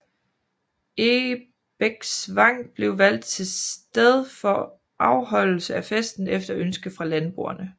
Egebæksvang blev valgt til sted for afholdelse af festen efter ønske fra landboerne